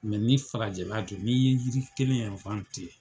ni farajɛla don, n'i ye yiri kelen